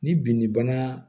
Ni bin bana